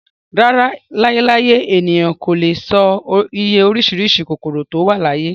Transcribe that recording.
Láyé láyé, ènìyàn kò lè e sọ iye orísìírísìí kòkòrò tó wà láyé